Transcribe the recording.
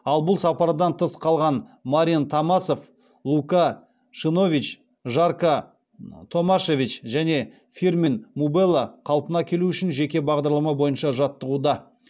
ал бұл сапардан тыс қалған марин томасов лука шимунович жарко томашевич және фирмин мубела қалпына келуі үшін жеке бағдарлама бойынша жаттығуда